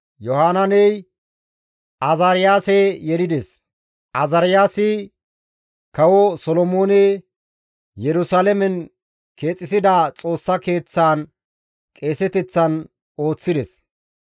Yohanaaney Azaariyaase yelides; Azaariyaasi kawo Solomooney Yerusalaamen keexisida Xoossa Keeththaan qeeseteththan ooththides.